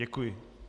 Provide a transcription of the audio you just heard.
Děkuji.